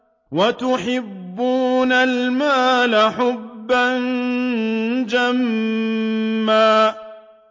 وَتُحِبُّونَ الْمَالَ حُبًّا جَمًّا